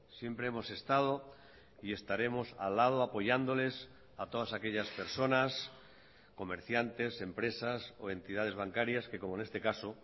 siempre hemos estado y estaremos al lado apoyándoles a todas aquellas personas comerciantes empresas o entidades bancarias que como en este caso